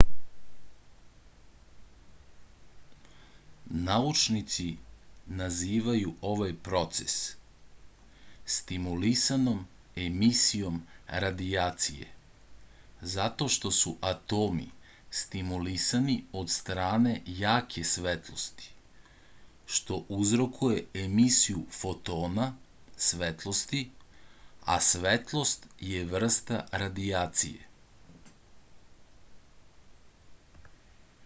naučnici nazivaju ovaj proces stimulisanom emisijom radijacije zato što su atomi stimulisani od strane jake svetlosti što uzrokuje emisiju fotona svetlosti a svetlost je vrsta radijacije